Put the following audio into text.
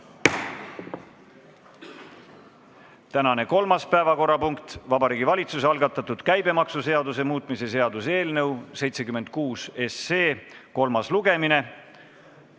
Tänane kolmas päevakorrapunkt on Vabariigi Valitsuse algatatud käibemaksuseaduse muutmise seaduse eelnõu 76 kolmas lugemine.